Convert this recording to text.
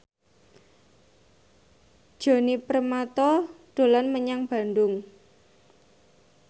Djoni Permato dolan menyang Bandung